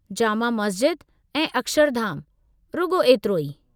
जामा मस्ज़िद ऐं अक्षरधाम, रुॻो एतिरो ई।